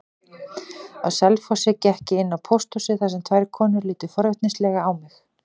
Á Selfossi gekk ég inn á pósthúsið þar sem tvær konur litu forvitnislega á mig.